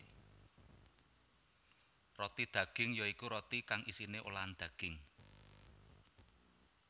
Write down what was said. Roti daging ya iku roti kang isiné olahan daging